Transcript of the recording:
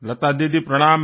লতাদিদি প্রণাম